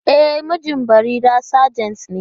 E, mijin Barira sajent ne.